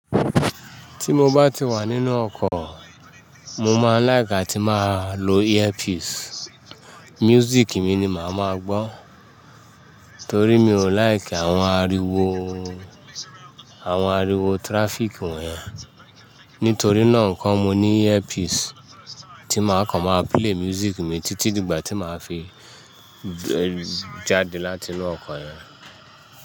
Tí mo bá ti wà nínú ọkọ̀, mo máa ń like atí máa lo earpiece. Music mi ni màá máa gbọ́. Torí mi ò like àwọn ariwo, àwọn ariwo traffic wọ̀nyẹn. Nítorí náà nǹkan, mo ní earpiece tí màá kọ̀ máa play music mi títí di ìgbà tí màá fi jáde látinú ọkọ̀ yẹn.